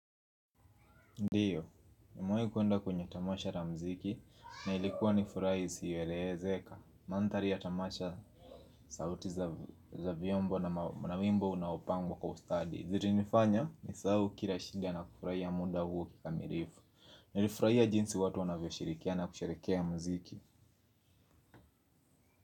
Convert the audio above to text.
Ndiyo, nimewai kuenda kwenye tamasha la mziki na ilikuwa ni furaha isiyoelezeka. Mandhari ya tamasha sauti za vyombo na wimbo unaopangwa kwa ustadi zili nifanya ni sahau kila shinda na kufurahi ya muda huu kikamirifu. Nilifurahiya jinsi watu wanavyo shirikia na kusherekea ya mziki.